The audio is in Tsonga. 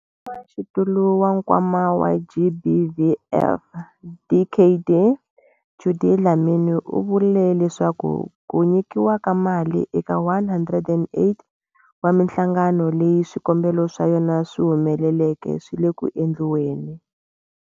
Mutshamaxitulu wa Nkwama wa GBVF, Dkd Judy Dlamini, u vule leswaku ku nyikiwa ka mali eka 108 wa mihlangano leyi swikombelo swa yona swi humeleleke swi le ku endliweni.